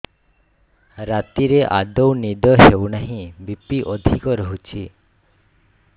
ରାତିରେ ଆଦୌ ନିଦ ହେଉ ନାହିଁ ବି.ପି ଅଧିକ ରହୁଛି